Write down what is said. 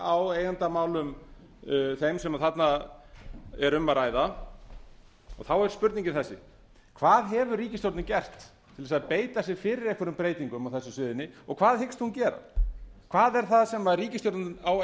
á eigendamálum þeim sem þarna er um að ræða og þá er spurningin þessi hvað hefur ríkisstjórnin gert til að beita sér fyrir einhverjum breytingum á þessu sviði og hvað hyggst hún gera hvað er það sem ríkisstjórnin á